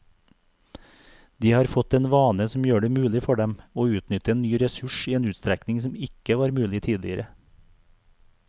De har fått en vane som gjør det mulig for dem å utnytte en ny ressurs i en utstrekning som ikke var mulig tidligere.